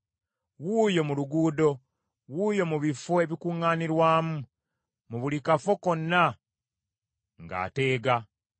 wuuyo mu luguudo, wuuyo mu bifo ebikuŋŋaanirwamu, mu buli kafo konna ng’ateega!